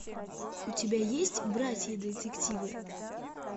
у тебя есть братья детективы